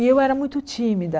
E eu era muito tímida.